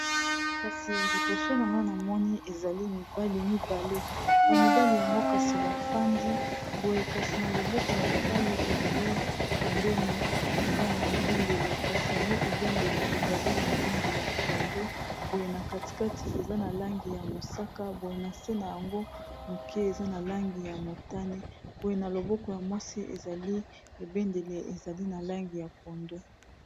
kasi liboso na nga namoni ezali mibali mibale na mibali yango kasi bafandi boye kasi na loboko ya mobali ezali pembeni eza na ebendele kasi yango ebendele ezali na langi ya pondu boye na katikati eza na langi ya mosaka boye na nse na yango moke eza na langi ya motane boye na loboko ya mwasi ezali ebendele ezali na langi ya pondu